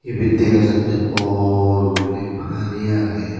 ibet degajattey bor guriney pani aagey.